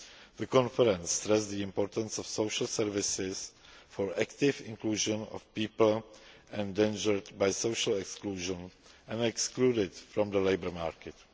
year. The conference stressed the importance of social services for active inclusion of people endangered by social exclusion and excluded from the labour market.